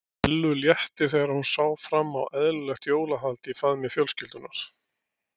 Ellu létti þegar hún sá fram á eðlilegt jólahald í faðmi fjölskyldunnar.